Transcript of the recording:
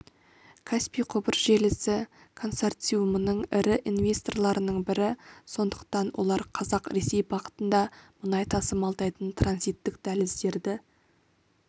каспий құбыр желісі консорциумының ірі инвесторларының бірі сондықтан олар қазақ-ресей бағытында мұнай тасымалдайтын транзиттік дәліздерді